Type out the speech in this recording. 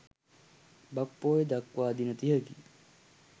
බක් පොහොය දක්වා දින තිහකි.